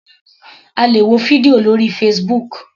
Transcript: A lè wo fídíò lórí Facebook.